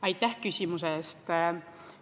Aitäh küsimuse eest!